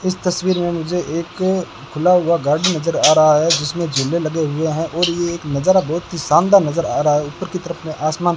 इस तस्वीर में मुझे एक खुला हुआ गार्डन नजर आ रहा है जिसमें झूले लगे हुए हैं और ये एक नजारा बहुत ही शानदार नजर आ रहा है ऊपर की तरफ में आसमान --